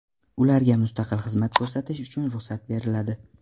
Ularga mustaqil xizmat ko‘rsatish uchun ruxsat beriladi.